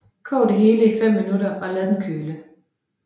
Kog det hele i 5 minutter og lad den køle